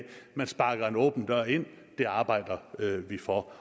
man sparker en åben dør ind og det arbejder vi for